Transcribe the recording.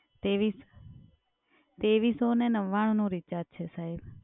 તેવીસ તેવીસો અને નવ્વાણુંનું recharge છે સાહેબ.